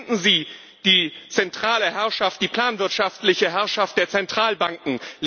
Beenden Sie die zentrale Herrschaft, die planwirtschaftliche Herrschaft der Zentralbanken!